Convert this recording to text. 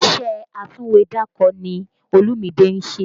Iṣẹ́ atúwèédàkọ ni Olúmide ń ṣe